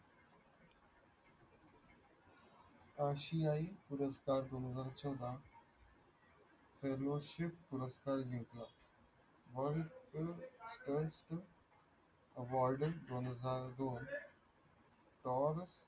आशिया पुरस्कार दोन हजार चौदा त्यादिवशी पुरस्कार जिंकला पण